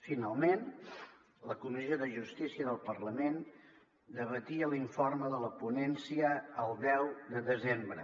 finalment la comissió de justícia del parlament debatia l’informe de la ponència el deu de desembre